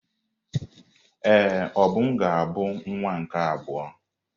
Ee, Obum ga-abụ nwa nke abụọ.